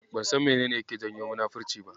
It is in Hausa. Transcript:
Ban san menene yake janyo munafurci ba.